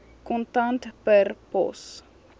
kontant per pos